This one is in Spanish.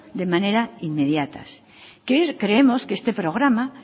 de manera inmediata creemos que este programa